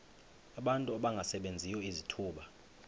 abantu abangasebenziyo izithuba